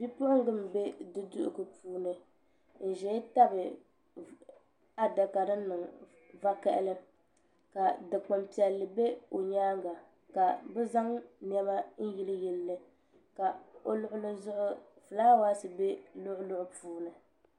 Bipuɣunga n bɛ du duɣugu puuni n ʒɛya tabi adaka din niŋ vakaɣali ka dikpuni piɛlli bɛ o nyaanga ka bi zaŋ niɛma n yili yili li ka o luɣuli zuɣu ka fulaawaasi bɛ luɣuluɣu puuni